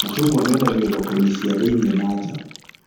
Macungwa mendagio thoko-inĩ cia thĩiniĩ na nja